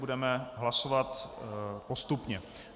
Budeme hlasovat postupně.